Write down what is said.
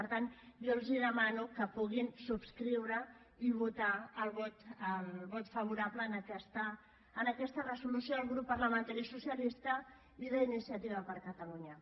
per tant jo els demano que puguin subscriure i votar el vot favorable a aquesta resolució del grup parlamentari socialista i d’iniciativa per catalunya